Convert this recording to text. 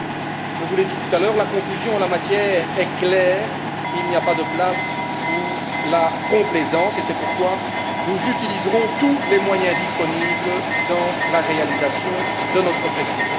Comme je vous l'ai dit tout à l'heure, la conclusion en la matière est claire il n'y a pas de place pour la complaisance et c'est pourquoi nous utiliserons tous les moyens disponibles dans la réalisation de notre objectif.